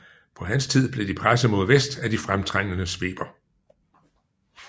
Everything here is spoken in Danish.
På hans tid blev de presset mod vest af de fremtrængende sveber